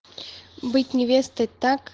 быть невестой так